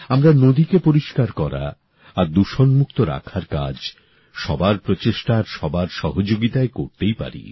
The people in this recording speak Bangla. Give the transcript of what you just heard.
আমরা নদীকে পরিষ্কার করা আর দূষণমুক্ত রাখার কাজ সবার প্রচেষ্টা আর সবার সহযোগিতায় করতেই পারি